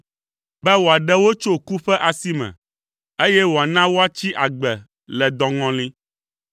be wòaɖe wo tso ku ƒe asi me, eye wòana woatsi agbe le dɔŋɔli.